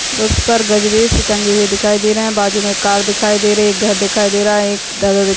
उस पर गजरे टंगी हुई दिखाई दे रहा है बाजू मे कार दिखाई दे रहा है घर दिखाई दे रहा है एक ध--